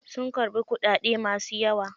Sun karbi kuɗaɗe masu yawa.